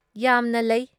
ꯌꯥꯝꯅ ꯂꯩ ꯫